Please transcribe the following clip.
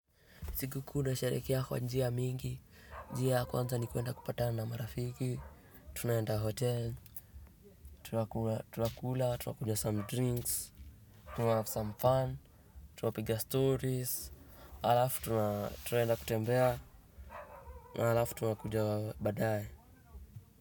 Siku kuu na sherekea kwa njia mingi, njia ya kwanza ni kwenda kupatana na marafiki, tunaenda hotel, tunakula, tunakula, tunakunywa some drinks, tuna have some fun, tunapiga stories, halafu tunaenda kutembea, halafu tunakuja badaye.